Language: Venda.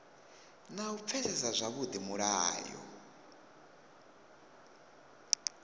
na u pfesesa zwavhudi mulayo